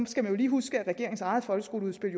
skal man jo lige huske at regeringens eget folkeskoleudspil